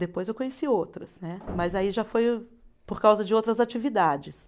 Depois eu conheci outras, né, mas aí já foi por causa de outras atividades.